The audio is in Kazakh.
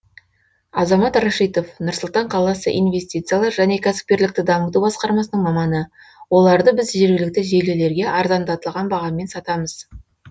азамат рашитов нұр сұлтан қаласы инвестициялар және кәсіпкерлікті дамыту басқармасының маманы оларды біз жергілікті желілерге арзандатылған бағамен сатамыз